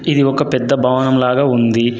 ఇది ఒక పెద్ద భవనం లాగా ఉంది.